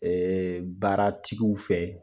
baara tigiw fɛ